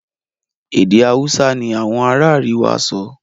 èdè Hausa ní Àwọn ará àríwá sọ.